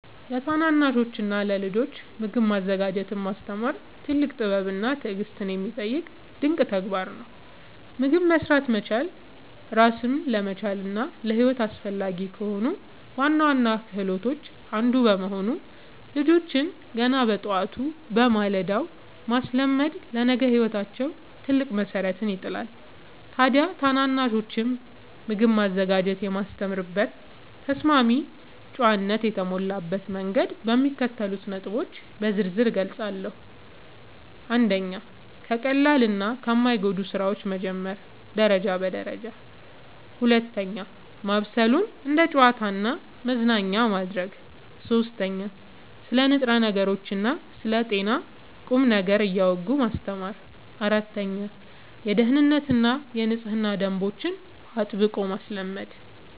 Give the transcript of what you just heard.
ለታናናሾችና ለልጆች ምግብ ማዘጋጀትን ማስተማር ትልቅ ጥበብና ትዕግሥት የሚጠይቅ ድንቅ ተግባር ነው። ምግብ መሥራት መቻል ራስን ለመቻልና ለሕይወት አስፈላጊ ከሆኑ ዋና ዋና ክህሎቶች አንዱ በመሆኑ፣ ልጆችን ገና በጠዋቱ (በማለዳው) ማስለመድ ለነገ ሕይወታቸው ትልቅ መሠረት ይጥላል። ታዲያ ታናናሾችን ምግብ ማዘጋጀት የማስተምርበትን ተስማሚና ጨዋነት የተሞላበት መንገድ በሚከተሉት ነጥቦች በዝርዝር እገልጻለሁ፦ 1. ከቀላልና ከማይጎዱ ሥራዎች መጀመር (ደረጃ በደረጃ) 2. ማብሰሉን እንደ ጨዋታና መዝናኛ ማድረግ 3. ስለ ንጥረ ነገሮችና ስለ ጤና ቁም ነገር እያወጉ ማስተማር 4. የደኅንነትና የንጽህና ደንቦችን አጥብቆ ማስለመድ